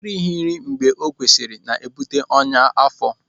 Erighi nri mgbe o kwesịrị na-ebute ọnyá afọ.